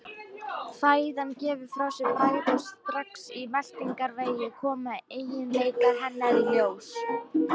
Fæðan gefur frá sér bragð og strax í meltingarvegi koma eiginleikar hennar í ljós.